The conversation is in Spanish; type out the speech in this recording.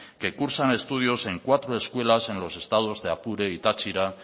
que cursan estudios en cuatro escuelas en los estados de apure y táchira